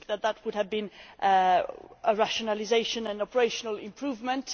We think that would have been a rationalisation, an operational improvement.